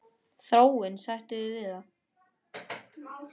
Þráinn, sættu þig við það!